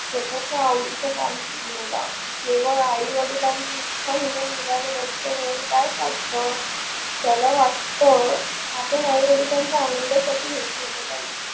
स्वतचा आवडिच काम निवडा. जेव्हा आई वडिलांची इच्छा म्हणून मुलान त्याला वाटत आपण आई वडिलांचा आनंदसाठी हे केल पाहिजे.